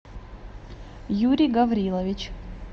юрий гаврилович